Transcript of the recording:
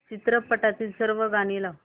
चित्रपटातील सर्व गाणी लाव